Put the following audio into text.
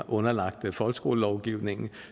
underlagt folkeskolelovgivningen